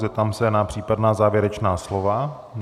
Zeptám se na případná závěrečná slova.